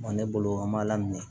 Ne bolo an b'a lamini